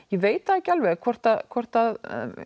ég veit ekki alveg hvort hvort